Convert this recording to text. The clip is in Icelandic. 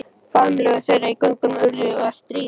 Faðmlög þeirra í göngunum urðu að stríði.